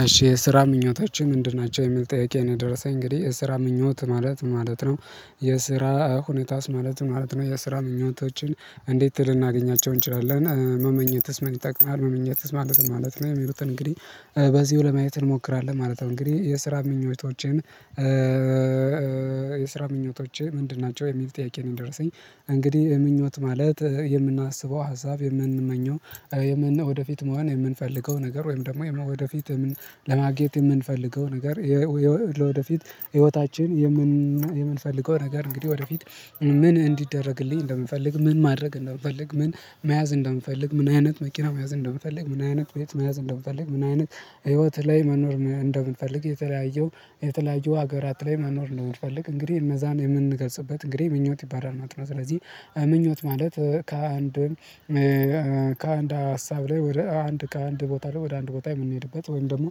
አሽ የስራ ምኞቶች ምንድን ናቸው? የሚል ጠየቀ ነው የደረሰኝ እንግዲህ የስራ ምኞት ማለት ማለት ነው። የስራ ሁኔታስ ማለት ማለት ነው የስራ ምኞቶችን እንዴት ልናገኛቸው እንችላለን እና መመኘትስ ምን ይጠቅማል? ማለት ማለት ነው የሚሉትን እንግዲህ በዚህው ለማየት እንሞክራለን ማለት ነው። እንግዲህ የስራ ምኞቶቼን የስራ ምኞቶቼ ምንድን ናቸው? የሚል ጥያቄ ነው የደረሰኝ። እንግዲህ ምኞት ማለት የምናስበው ሀሳብ የምንመኘው ወደፊት መሆን የምንፈልገው ነገር ወይም ደግሞ ወደፊት ለማግኘት የምንፈልገው ነገር ወደፊት ህይወታችን የምንፈልገው ነገር እንግዲህ ወደፊት ምን እንዲደረግልኝ እንደምፈልግ ምን ማድረግ እንደምፈልግ ምን መያዝ እንደምፈልግ ምን አይነት መኪና መያዝ እንደምፈልግ ምን አይነት ቤት መያዝ እንደምፈልግ ምን አይነት ህይወት ላይ መኖር እንደምፈልግ የተለያዩ የተለያዩ ሀገራት ላይ መኖር እንደምፈልግ እንግዲህ እነዛን የምንገልጽበት እንግዲህ ምኞት ይባላል ማለት ነው። ስለዚህ ምኞት ማለት ከአንድ ከአንድ ሀሳብ ላይ ወደ አንድ ከአንድ ቦታ ላይ ወደ አንድ ቦታ የምንሄድበት ወይም ደግሞ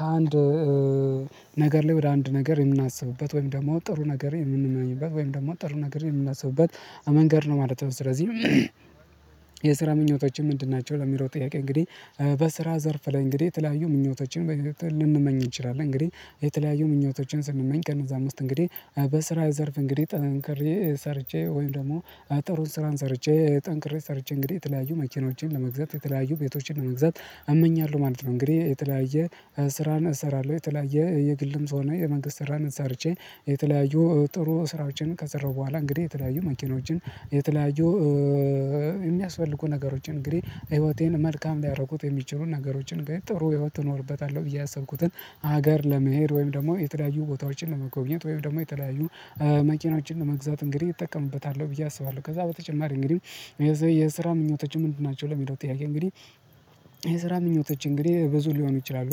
ከአንድ ነገር ላይ ወደ አንድ ነገር የምናስብበት ወይም ደግሞ ጥሩ ነገር የምንመኘበት ወይም ደግሞ ጥሩ ነገር የምናስብበት መንገድ ነው ማለት ነው። ስለዚህ የስራ ምኞቶችህ ምንድን ናቸው ለሚለው ጥያቄ እንግዲህ በስራ ዘርፍ ላይ እንግዲህ የተለያዩ ምኞቶችን ልንመኝ እንችላለን እንግዲህ የተለያዩ ምኞቶችን ስንመኝ ከእነዛም ውስጥ እንግዲህ በስራ ዘርፍ እንግዲህ ጠንክሬ ሰርቼ ወይም ደግሞ ጥሩ ስራን ሰርቼ ጠንክሬ ሰርቼ እንግዲህ የተለያዩ መኪኖቼን ለመግዛት የተለያዩ ቤቶቼን ለመግዛት እመኛለሁ ማለት ነው። እንግዲህ የተለያየ ስራን እሰራለሁ የተለያየ የግልም ሆነ የመንግስት ስራን ሰርቼ የተለያዩ ጥሩ ስራዎችን ከሰራሁ በኋላ እንግዲህ የተለያዩ መኪኖችን የተለያዩ የሚያስፈልጉ ነገሮችን እንግዲህ ህይወቴን መልካም ሊያረጉት የሚችሉ ነገሮችን እንግዲህ ጥሩ ህይወት እኖርበታለሁ። ብየ ያሰብኩትን ሀገር ለመሄድ ወይም ደግሞ የተለያዩ ቦታዎችን ለመጎብኘት ወይም ደግሞ የተለያዩ መኪናዎችን ለመግዛት እንግዲህ እጠቀምበታለሁ ብዬ አስባለሁ ከዛ በተጨማሪ እንግዲህ የስራ ምኞቶችህ ምንድን ናቸው ለሚለው ጥያቄ እንግዲህ የስራ ምኞቶቼ እንግዲህ ብዙ ሊሆኑ ይችላሉ።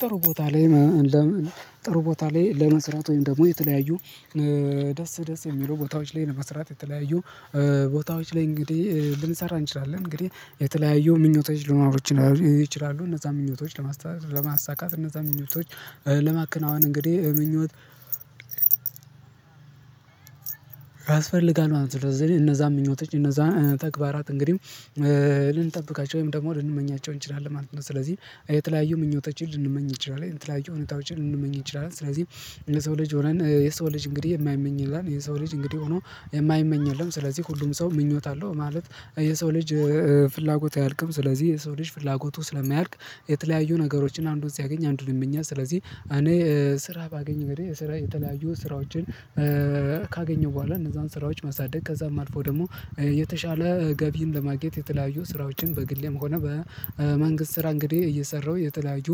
ጥሩ ቦታ ላይ ጥሩ ቦታ ላይ ለመስራት ወይም ደግሞ የተለያዩ ደስ ደስ የሚሉ ቦታዎች ላይ ለመስራት የተለያዩ ቦታዎች ላይ እንግዲህ ልንሰራ እንችላለን እንግዲህ የተለያዩ ምኞቶች ሊኖሩ ይችላሉ እነዛ ምኞቶች ለማሳካት እነዛን ምኞቶች ለማከናወን እንግዲህ ምኞት ያስፈልጋል ማለት ነው። ስለዚህ እነዛን ምኞቶች እነዛ ተግባራት እንግዲህ ልንጠብቃቸው ወይም ደግሞ ልንመኛቸው እንችላለን ማለት ነው። ስለዚህ የተለያዩ ምኞቶችን ልንመኝ እንችላለን የተለያዩ ሁኔታዎችን ልንመኝ እንችላለን ስለዚህ የሰው ልጅ ሆነን የሰው ልጅ እንግዲህ የማይመኝ የለም የሰው ልጅ እንግዲህ ሆኖ የማይመኝ የለም ስለዚህ ሁሉም ሰው ምኞት አለው ማለት የሰው ልጅ ፍላጎት አያልቅም። ስለዚህ የሰው ልጅ ፍላጎቱ ስለማያልቅ የተለያዩ ነገሮችን አንዱን ሲያገኝ አንዱን ይመኛል ስለዚህ እኔ ስራ ባገኝ እንግዲህ የስራ የተለያዩ ስራዎችን ካገኘሁ በኋላ እነዛን ስራዎች ማሳደግ ከዛም አልፎ ደግሞ የተሻለ ገቢን ለማግኘት የተለያዩ ስራዎችን በግሌም ሆነ በመንግስት ስራ እንግዲህ እየሰራሁ የተለያዩ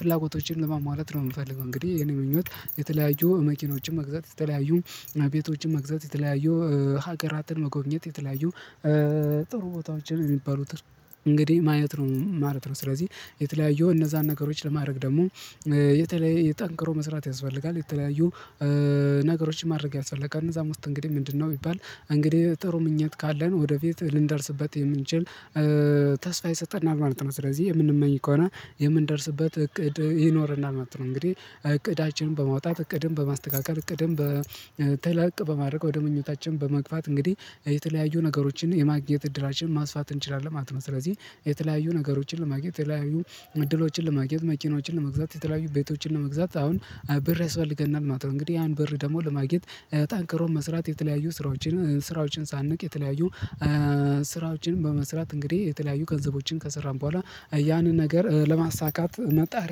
ፍላጎቶችን ለማሟላት ነው። የምንፈልገው እንግዲህ የኔ ምኞት የተለያዩ መኪኖችን መግዛት የተለያዩ ቤቶችን መግዛት የተለያዩ ሀገራትን መጎብኘት የተለያዩ ጥሩ ቦታዎች የሚባሉትን እንግዲህ ማየት ነው ማለት ነው። ስለዚህ የተለያዩ እነዛን ነገሮች ለማድረግ ደግሞ የተለየ ጠንክሮ መስራት ያስፈልጋል የተለያዩ ነገሮች ማድረግ ያስፈልጋል ከእነዛም ውስጥ እንግዲህ ምንድነው ቢባል እንግዲህ ጥሩ ምኞት ካለን ወደፊት ልንደርስበት የምንችል ተስፋ ይሰጠናል ማለት ነው። ስለዚህ የምንመኝ ከሆነ የምንደርስበት እቅድ ይኖርናል ማለት ነው እንግዲህ እቅዳችንን በማውጣት እቅድን በማስተካከል እቅድን በ ተለቅ በማድረግ ወደ ምኞታችን በመግፋት እንግዲህ የተለያዩ ነገሮችን የማግኘት እድላችን ማስፋት እንችላለን ማለት ነው። ስለዚህ የተለያዩ ነገሮችን ለማግኘት የተለያዩ እድሎችን ለማግኘት መኪኖችን ለመግዛት የተለያዩ ቤቶችን ለመግዛት አሁን ብር ያስፈልገናል ማለት ነው። እንግዲህ ያን ብር ደግሞ ለማግኘት ጠንክሮ መስራት የተለያዩ ስራዎችን ስራዎችን ሳንንቅ የተለያዩ ስራዎችን በመስራት እንግዲህ የተለያዩ ገንዘቦችን ከሰራን በኋላ ያንን ነገር ለማሳካት መጣር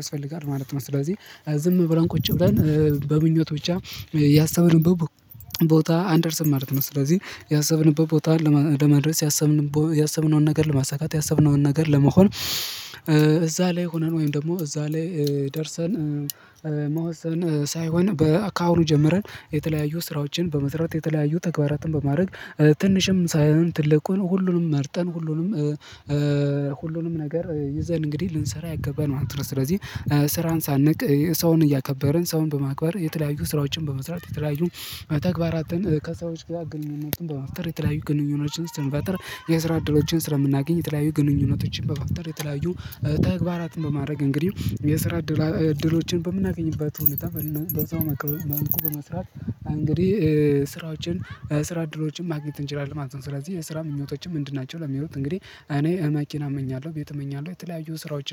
ያስፈልጋል ማለት ነው። ስለዚህ ዝም ብለን ቁጭ ብለን በምኞት ብቻ ያሰብንበት ቦታ አንደርስም ማለት ነው። ስለዚህ ያሰብንበት ቦታ ለመድረስ ያሰብንቦ ያሰብነውን ነገር ለማሳካት ያሰብነውን ነገር ለመሆን እዛ ላይ ሆነን ወይም ደግሞ እዛ ላይ ደርሰን መወሰን ሳይሆን በ ካሁኑ ጀምረን የተለያዩ ስራዎችን በመስራት የተለያዩ ተግባራትን በማድረግ ትንሽም ሳይሆን ትልቁን ሁሉንም መርጠን ሁሉንም ሁሉንም ነገር ይዘን እንግዲህ ልንሰራ ይገባል ማለት ነው። ስለዚህ ስራን ሳንንቅ ሰውን እያከበርን ሰውን በማክበር የተለያዩ ስራዎችን በመስራት የተለያዩ ተግባራትን ከሰዎች ጋር ግንኙነትን በመፍጠር የተለያዩ ግንኙነቶችን ስንፈጥር የስራ እድሎችን ስለምናገኝ የተለያዩ ግንኙነቶችን በመፍጠር የተለያዩ ተግባራትን በማድረግ እንግዲህ የስራ እድል እድሎችን በምናገኝበት ሁኔታ በዛው መልኩ በመስራት እንግዲህ ስራዎችን ስራ እድሎችን ማግኘት እንችላለን ማለት ነው። ስለዚህ የስራ ምኞቶችን ምንድን ናቸው ለሚለው እንግዲህ እኔ መኪና እመኛለሁ ቤት እመኛለሁ የተለያዩ ስራዎች